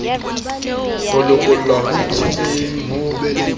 ho lokollwa ho itshetleheng ho